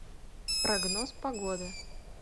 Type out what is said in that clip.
прогноз погоды